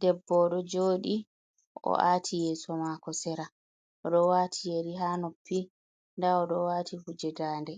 Debbo, oɗon joɗi, o ahti yeso mako sera, oɗon waati yeri ha noppi, nda oɗon wati kuje dannde,